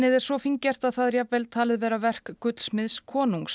er svo fíngert að það er jafnvel talið vera verk gullsmiðs konungs